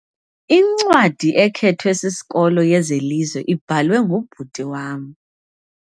Incwadi ekhethwe sisikolo yezelizwe ibhalwe ngubhuti wam.